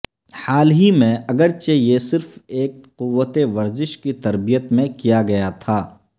حال ہی میں اگرچہ یہ صرف ایک قوت ورزش کی تربیت میں کیا گیا تھا